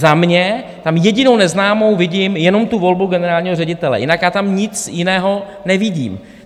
Za mě tam jedinou neznámou vidím jenom tu volbu generálního ředitele, jinak já tam nic jiného nevidím.